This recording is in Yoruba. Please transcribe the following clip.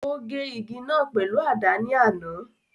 O gé igi náà pèlú àdá ni àná.